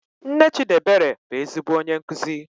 Nne Chidiebere bụ ezigbo onye nkuzi.